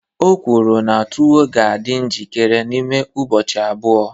O kwuru na tuwo ga-adị njikere n'ime ụbọchị abụọ